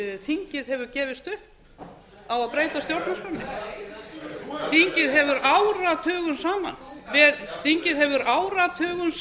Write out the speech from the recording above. þingið hefur gefist upp á að breyta stjórnarskránni þingið hefur áratugum saman þingið hefur áratugum